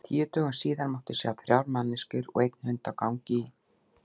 Tíu dögum síðar mátti sjá þrjár manneskjur og einn hund á gangi í